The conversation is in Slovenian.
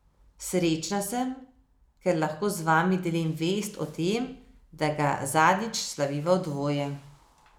Srečna sem, ker lahko z vami delim vest, o tem, da ga zadnjič slaviva v dvoje.